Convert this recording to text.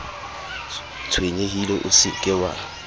tshwenyehile o se ke wa